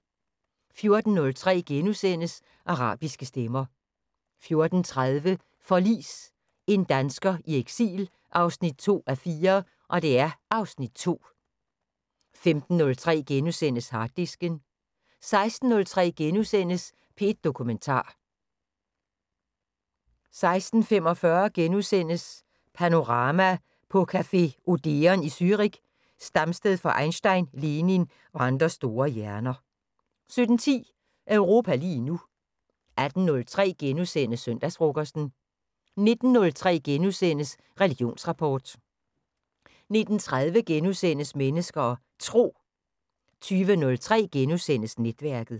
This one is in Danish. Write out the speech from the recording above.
14:03: Arabiske stemmer * 14:30: Forlis – En dansker i eksil 2:4 (Afs. 2) 15:03: Harddisken * 16:03: P1 Dokumentar * 16:45: Panorama: På café Odeon i Zürich, stamsted for Einstein, Lenin og andre store hjerner * 17:10: Europa lige nu 18:03: Søndagsfrokosten * 19:03: Religionsrapport * 19:30: Mennesker og Tro * 20:03: Netværket *